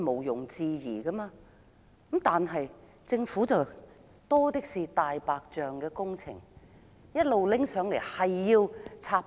然而，政府有很多"大白象"工程，不斷提交上來插隊。